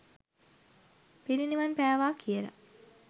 පිරිනිවන් පෑවා කියලා.